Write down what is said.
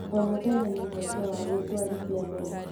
O mũthenya nĩ mweke wa gwĩtũarithia mbere.